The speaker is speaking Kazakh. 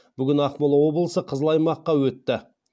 бүгін ақмола облысы қызыл аймаққа өтті